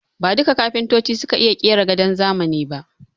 Ba duka kafintoci suka iya ƙera gadon zamani ba